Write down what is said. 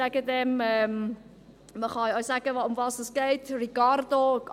Ich sage dem … Man kann auch sagen, worum es geht: Ricardo.